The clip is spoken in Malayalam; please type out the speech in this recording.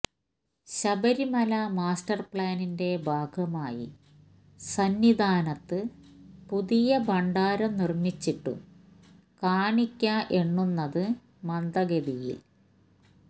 ശബരിമല മാസ്റ്റർ പ്ലാനിന്റെ ഭാഗമായി സന്നിധാനത്ത് പുതിയ ഭണ്ഡാരം നിർമ്മിച്ചിട്ടും കാണിക്ക എണ്ണുന്നത് മന്ദഗതിയിൽ